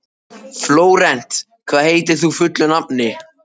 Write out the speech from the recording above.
Flórent, hvað heitir þú fullu nafni?